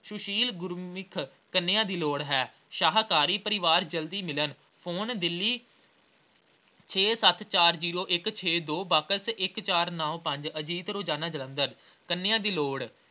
ਸੁਸ਼ੀਲ ਗੁਰਮੁੱਖ ਕੰਨੀਆ ਦੀ ਲੋੜ ਹੈ ਸ਼ਾਕਾਹਾਰੀ ਪਰਿਵਾਰ ਜਲਦੀ ਮਿਲਣ ਫੋਨ ਦਿੱਲੀ ਛੇ ਸੱਤ ਚਾਰ ਜ਼ੀਰੋ ਇੱਕ ਛੇ ਦੋ box ਇੱਕ ਚਾਰ ਨੌਂ ਪੰਜ ਅਜੀਤ ਰੋਜ਼ਾਨਾ ਜਲੰਧਰ। ਕੰਨੀਆ ਦੀ ਲੋੜ